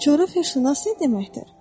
Bəs coğrafiyaçı nə deməkdir?